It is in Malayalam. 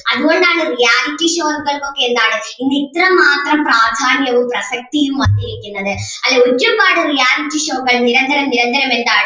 അതുകൊണ്ട് ആണ് reality shows കൾക്ക് ഒക്കെ എന്താണ് ഇന്ന് ഇത്ര മാത്രം പ്രാധാന്യവും പ്രസക്തിയും വന്നിരിക്കുന്നത് അല്ലേ? ഒരുപാട് reality show കൾ നിരന്തരം നിരന്തരം എന്താണ്